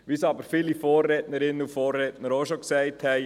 Wie aber viele Vorrednerinnen und Vorredner bereits sagten: